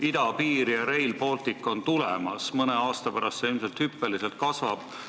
Idapiir ja Rail Baltic on tulemas, mõne aasta pärast see summa ilmselt hüppeliselt kasvab.